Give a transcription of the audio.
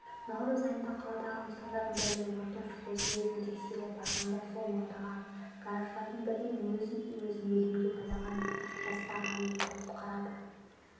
наурыз айында қаладағы нысандардың бірінде өрттің шығу себебін тексере барғанда сол маңдағы гараждардың бірінен өз-өзін өлімге байлаған жастағы әйелді құтқарады